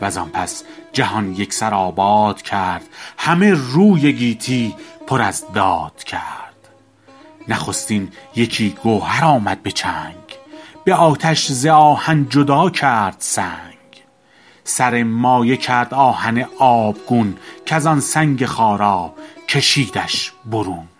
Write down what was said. و زان پس جهان یک سر آباد کرد همه روی گیتی پر از داد کرد نخستین یکی گوهر آمد به چنگ به آتش ز آهن جدا کرد سنگ سر مایه کرد آهن آبگون کز آن سنگ خارا کشیدش برون